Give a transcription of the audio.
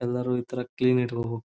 ಎಲ್ಲರೂ ಈ ತರ ಕೇಳಿ ಇಟ್ಕೋಬೇಕು.